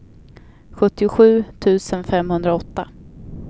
sjuttiosju tusen femhundraåtta